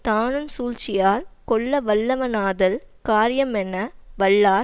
தானுஞ் சூழ்ச்சியா கொல்லவல்லவனாதல் காரியமெண வல்லார்